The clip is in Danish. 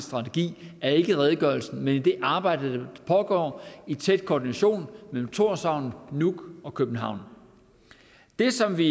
strategi er ikke i redegørelsen men i det arbejde der pågår i tæt koordination mellem tórshavn nuuk og københavn det som vi